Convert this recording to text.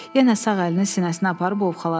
Yenə sağ əlini sinəsinə aparıb ovxaladı.